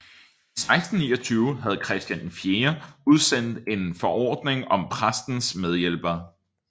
I 1629 havde Christian IV udstedt en forordning om præstens medhjælpere